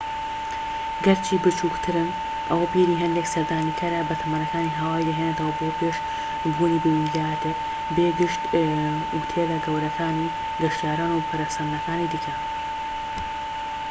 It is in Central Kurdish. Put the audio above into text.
گەرچی بچووکترن ئەوە بیری هەندێک سەردانیکارە بەتەمەنەکانی هاوایی دەهێنێتەوە بۆ پێش بوونی بە ویلایەتێک بێ گشت ئوتێلە گەورەکانی گەشتیاران و پەرەسەندنەکانی دیکە